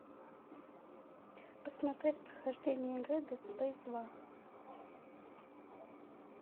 посмотреть прохождение игры дед спейс два